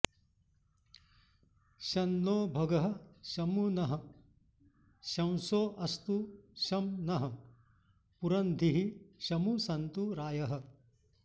शं नो भगः शमु नः शंसो अस्तु शं नः पुरंधिः शमु सन्तु रायः